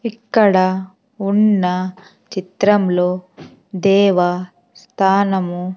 ఇక్కడ ఉన్న చిత్రంలో దేవ స్థానము--